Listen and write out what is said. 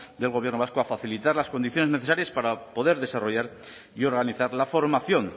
del gobierno vasco a facilitar las condiciones necesarias para poder desarrollar y organizar la formación